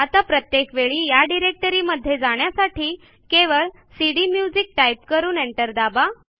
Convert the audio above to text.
आता प्रत्येक वेळी या डिरेक्टरीमध्ये जाण्यासाठी केवळ सीडीम्युझिक टाईप करून एंटर दाबा